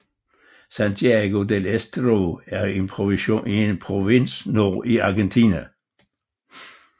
Santiago del Estero er en provins nord i Argentina